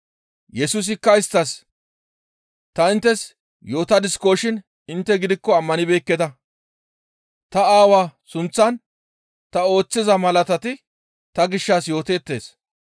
Yesusikka isttas, «Ta inttes yootadiskoshin intte gidikko ammanibeekketa. Ta Aawaa sunththan ta ooththiza malatati ta gishshas yooteettes.